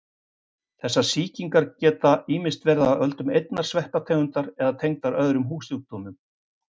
Þessar sýkingar geta ýmist verið af völdum einnar sveppategundar eða tengdar öðrum húðsjúkdómum.